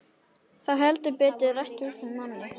Það hefur heldur betur ræst úr þeim manni!